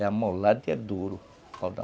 É amolada e é duro